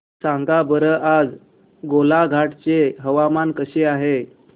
सांगा बरं आज गोलाघाट चे हवामान कसे आहे